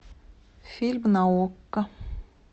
фильм на окко